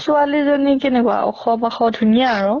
ছোৱালী জনী কেনেকুৱা? ওখ পাখ ধুনীয়া আৰু?